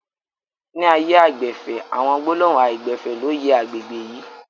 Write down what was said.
Ni ààyè aìgbẹ̀fẹ̀, àwọn gbólóhùn aìgbẹ̀fẹ̀ ló yẹ àgbègbè yìí